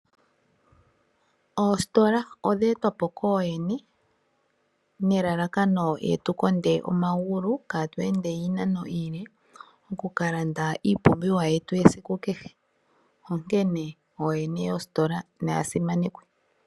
Ostola odhe twapo koo yene nelalakano ye tukonde omagulu kaatwende iinano iile kokulanda iipumbiwa yetu yesiku kehe onkene oyene yoostola naya simanekwe.